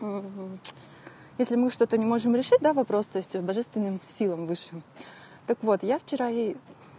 если мы что-то не можем решить да вопрос то есть божественным силам высшим так вот я вчера ей